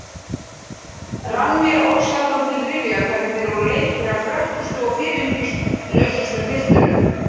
Rann mér ósjaldan til rifja hvernig þeir voru leiknir af frökkustu og fyrirhyggjulausustu piltunum.